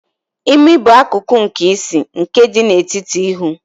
Imi bụ akụkụ nke isi, nke dị n'etiti ihu.